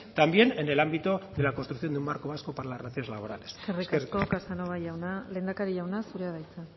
también en el ámbito de la construcción de un marco vasco para las relaciones laborales eskerrik asko casanova jauna lehendakari jauna zurea da hitza